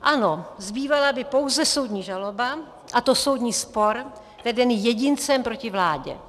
Ano, zbývala by pouze soudní žaloba, a to soudní spor vedený jedincem proti vládě.